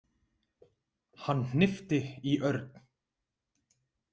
Hann hnippti í Örn.